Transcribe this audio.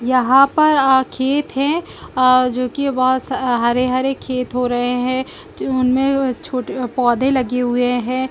यहाँ पर आ खेत है आ जो की बहुत हरे-हरे खेत हो रहे है उनमें छोटे पौधे लगे हुए है।